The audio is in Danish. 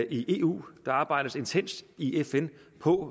i eu og der arbejdes intenst i fn på